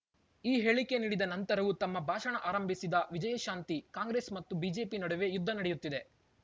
ಈ ಹೇಳಿಕೆ ನೀಡಿದ ನಂತರವೂ ತಮ್ಮ ಭಾಷಣ ಆರಂಭಿಸಿದ ವಿಜಯಶಾಂತಿ ಕಾಂಗ್ರೆಸ್ ಮತ್ತು ಬಿಜೆಪಿ ನಡುವೆ ಯುದ್ಧ ನಡೆಯುತ್ತಿದೆ